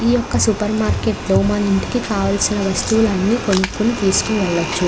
ఈ ఒక supermarket లో మన ఇంటికి కావాల్సిన వస్తువులన్నీ కొనుక్కొని తీసుకొని వెళ్లొచ్చు.